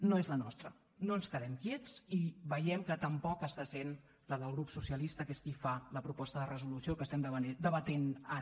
no és la nostra no ens quedem quiets i veiem que tampoc està sent la del grup socialista que és qui fa la proposta de resolució que estem debatent ara